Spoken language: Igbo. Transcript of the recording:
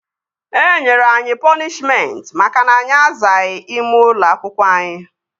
Enyere anyị pọnishmentị maka na anyị azaghị ime ụlọ akwụkwọ anyị